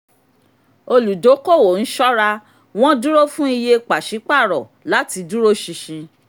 olùdókòwò ń sọra wọ́n dúró fún iye pàṣípàrọ̀ láti dúró ṣinṣin.